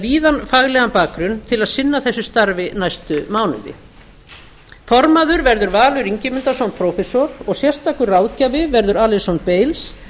víðan faglegan bakgrunn til að sinna þessu starfi næstu mánuði formaður verður valur ingimundarson prófessor og sérstakur ráðgjafi verður alyson bailes